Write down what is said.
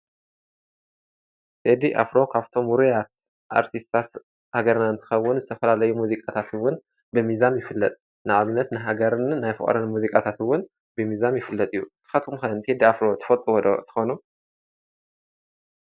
ቴዲ ኣፍሮ ካብቶም ውሩያት ኣርቲስታት ሃገርና ንትኸውን ዝተፈላለየ ሙዚቃታትውን ብሚዛም ይፍለጥ፡፡ ንኣብነት ንሃገርን ናይ ፍቕርን ሙዚቃታትውን ብሚዛም ይፍለጥ እዩ፡፡ ንስኾትኩም ከ ቴዲ ኣፍሮ ተፈልጥዎ ዶ ትኾኑ?